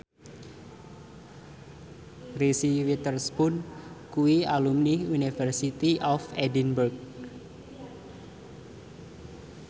Reese Witherspoon kuwi alumni University of Edinburgh